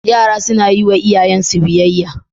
Yara sunayi wa iyayen su biyayya